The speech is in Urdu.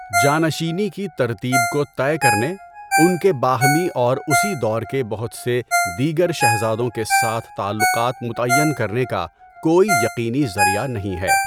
جانشینی کی ترتیب کو طے کرنے، ان کے باہمی اور اسی دور کے بہت سے دیگر شہزادوں کے ساتھ تعلقات متعین کرنے کا کوئی یقینی ذریعہ نہیں ہے۔